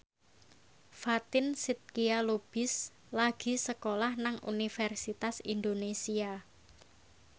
Fatin Shidqia Lubis lagi sekolah nang Universitas Indonesia